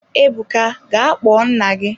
Ebuka ga kpọọ nna gị!